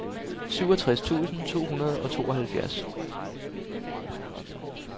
syvogtres tusind to hundrede og tooghalvfjerds